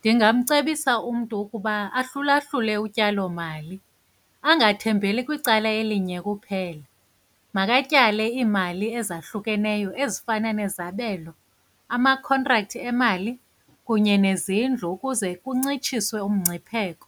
Ndingamcebisa umntu ukuba ahlulahlule utyalomali, angathembeli kwicala elinye kuphela. Makatyale iimali ezahlukeneyo ezifana nezabelo, ama-contract emali kunye nezindlu ukuze kuncitshiswe umngcipheko.